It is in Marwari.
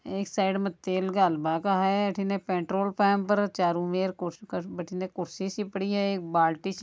एक साइड में तेल घाल बा का है अठीने एक पेट्रोल पंप चारो और कुर्सी सी पड़ी है एक बाल्टी सी --